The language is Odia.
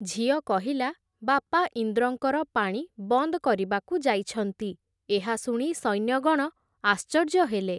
ଝିଅ କହିଲା, ‘ବାପା ଇନ୍ଦ୍ରଙ୍କର ପାଣି ବନ୍ଦ୍ କରିବାକୁ ଯାଇଛନ୍ତି, ଏହା ଶୁଣି ସୈନ୍ୟଗଣ ଆଶ୍ଚର୍ଯ୍ୟ ହେଲେ ।